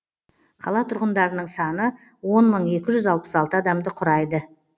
қала тұрғындарының саны он мың екі жүз алпыс алты адамды құрайды